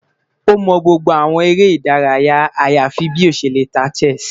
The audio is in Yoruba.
O mọ gbogbo awọn ere idaraya ayafi bi o ṣe le ta chess